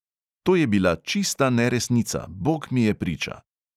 To je bila čista neresnica, bog mi je priča!